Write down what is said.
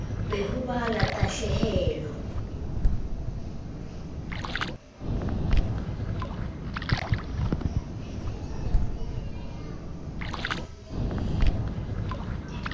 be ho ba la tahlehelo